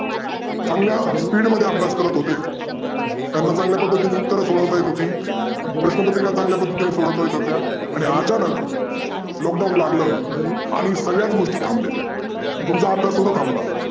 चांगल्या speed मध्ये अभ्यास करत होते त्यांना चांगल्या पध्दतीने उत्तर सोडवता येत होते, प्रश्नपत्रीका चांगल्या पध्दतीने सोडवता येत होत्या. आणि अचानक lockdown लागलं. आणि सगळ्या गोष्टी थांबल्या. तुमचा अभ्यास सुध्दा थांबला.